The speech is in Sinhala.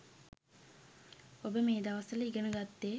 ඔබ මේ දවස්වල ඉගෙන ගත්තේ